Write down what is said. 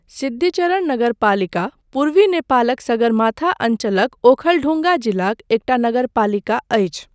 सिद्धिचरण नगरपालिका पूर्वी नेपालक सगरमाथा अञ्चलक ओखलढुङ्गा जिलाक एकटा नगरपालिका अछि।